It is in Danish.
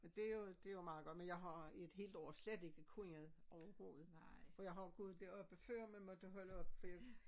Det jo det jo meget godt men jeg har i et helt år slet ikke kunnet overhovedet for jeg har jo gået deropppe før men måtte holde op for jeg